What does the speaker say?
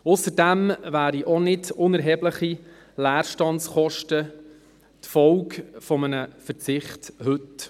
Ausserdem wären auch nicht unerhebliche Leerstandskosten die Folge eines Verzichts von heute.